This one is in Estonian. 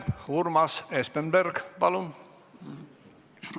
Urmas Espenberg, palun!